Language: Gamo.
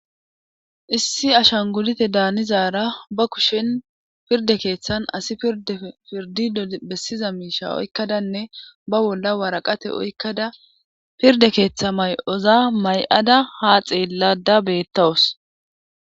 issi ashan gulite daanizaara ba kushen pirde keeththan asi idepirdi dbessiza miisha oykkadanne ba bolla waraqate oykkada pirde keeththa may'oza may'ada ha xeellada beettawus